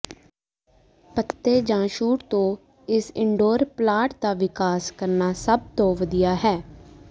ਪੱਤੇ ਜਾਂ ਸ਼ੂਟ ਤੋਂ ਇਸ ਇਨਡੋਰ ਪਲਾਂਟ ਦਾ ਵਿਕਾਸ ਕਰਨਾ ਸਭ ਤੋਂ ਵਧੀਆ ਹੈ